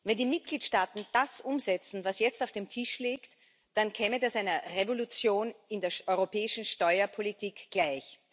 Wenn die Mitgliedstaaten das umsetzen, was jetzt auf dem Tisch liegt, dann käme das einer Revolution in der europäischen Steuerpolitik gleich.